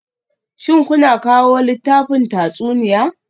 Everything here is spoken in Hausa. Shin kuna kawo littafin tatsuniya?